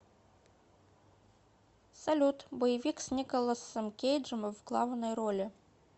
салют боевик с николосам кейджом в главной роли